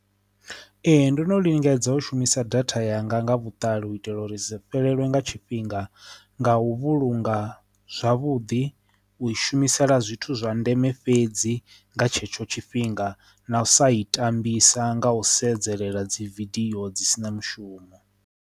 Ee, ndo no lingedza u shumisa data yanga nga vhuṱali u itela uri sa fhelelwe nga tshifhinga nga u vhulunga zwavhuḓi u shumisela zwithu zwa ndeme fhedzi nga tshetsho tshifhinga na u sa i tambisa nga u sedzela dzi vidio dzi si na mushumo.